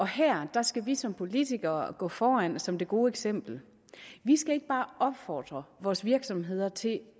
her skal vi som politikere gå foran som det gode eksempel vi skal ikke bare opfordre vores virksomheder til i